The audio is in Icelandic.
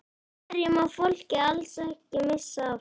Hverju má fólk alls ekki missa af?